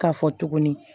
K'a fɔ tuguni